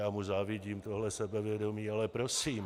Já mu závidím tohle sebevědomí, ale prosím.